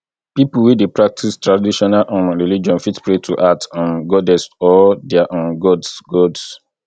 pipo wey dey practice traditional um religion fit pray to earth um goddess or their um gods gods